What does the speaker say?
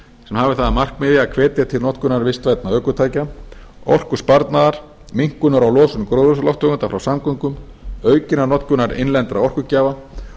sem hafi það að markmiði að hvetja til notkunar vistvænna ökutækja orkusparnaðar minnkunar á losun gróðurhúsalofttegunda frá samgöngum aukinnar notkunar innlendra orkugjafa